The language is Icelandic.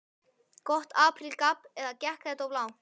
Gott apríl gabb eða gekk þetta of langt?